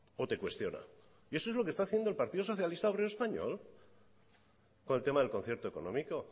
o te cuestiona y eso es lo que está haciendo el partido socialista obrero español con el tema del concierto económico